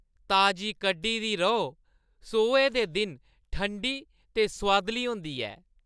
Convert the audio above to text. ताजी कड्ढी दी रौह् सोहे दे दिन ठंडी ते सोआदली होंदी ऐ।